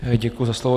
Děkuji za slovo.